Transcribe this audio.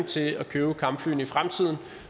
til at købe kampflyene i fremtiden og